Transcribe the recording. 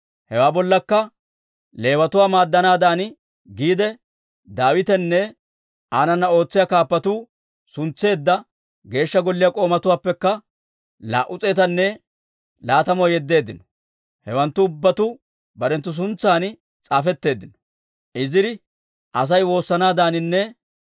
Hewaa bollakka Leewatuwaa maaddanaadan giide, Daawitenne aanana ootsiyaa kaappatuu suntseedda Geeshsha Golliyaa k'oomatuwaappekka laa"u s'eetanne laatamuwaa yeddeeddino. Hewanttu ubbatuu barenttu suntsan s'aafetteeddino.